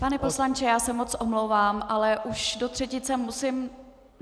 Pane poslanče, já se moc omlouvám, ale už do třetice musím...